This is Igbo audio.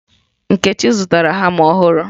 Nkechi zụtara hama ọhụrụ.